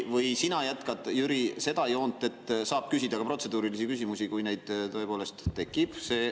Või sina jätkad, Jüri, seda joont, et saab küsida ka protseduurilisi küsimusi, kui neid tõepoolest tekib?